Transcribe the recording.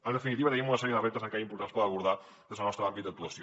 en definitiva tenim una sèrie de reptes encara importants per abordar des del nostre àmbit d’actuació